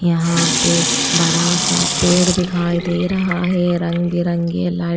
यहां पे बड़ा सा पेड़ दिखाई दे रहा है रंग बिरंगे लाइट --